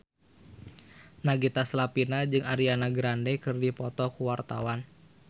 Nagita Slavina jeung Ariana Grande keur dipoto ku wartawan